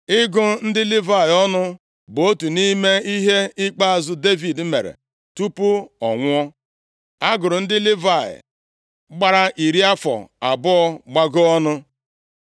Ịgụ ndị Livayị ọnụ bụ otu nʼime ihe ikpeazụ Devid mere tupu ọ nwụọ. A gụrụ ndị Livayị gbara iri afọ abụọ gbagoo ọnụ.